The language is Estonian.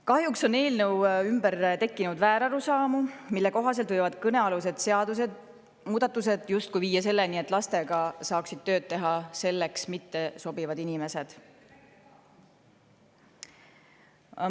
Kahjuks on eelnõu ümber tekkinud väärarusaamu, mille kohaselt võivad kõnealused seadusemuudatused justkui viia selleni, et lastega saaksid tööd teha selleks mittesobivad inimesed.